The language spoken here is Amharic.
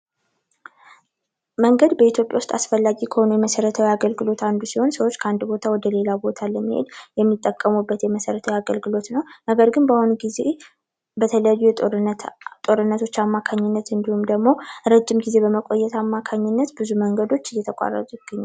መንገድ በኢትዮጵያ ዉስጥ አስፈላጊ ከሆኑት መሰረታዊ አገልግሎት አንዱ ሲሆን ከአንድ ቦታ ወደ ሌላ ቦታ ለመሄድ የሚጠቀሙበት የመሰረታዊ አገልግሎት ነዉ። ነገር ግን በአሁኑ ጊዜ በተለያዩ የጦርነት ጊዜ ጦርነቶች አማካኝነት ረዥም ጊዜ በማቆየት አማካኝነት ብዙ መንገዶች እየተቋሰጡ ይገኛሉ።